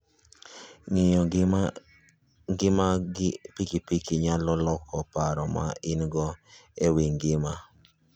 Ng'iyo ngima gi piki piki nyalo loko paro ma in-go e wi ngima.